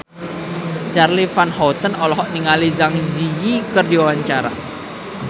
Charly Van Houten olohok ningali Zang Zi Yi keur diwawancara